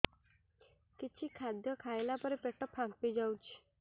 କିଛି ଖାଦ୍ୟ ଖାଇଲା ପରେ ପେଟ ଫାମ୍ପି ଯାଉଛି